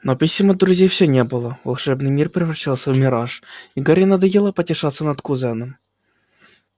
но писем от друзей всё не было волшебный мир превращался в мираж и гарри надоело потешаться над кузеном